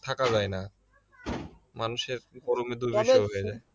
থাকা যায় না মানুষের গরমে দুর্বিষহ হয়ে যায়